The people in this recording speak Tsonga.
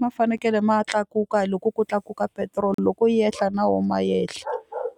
ma fanekele ma tlakuka loko ku tlakuka petiroli loko yi yehla na wona ma yehla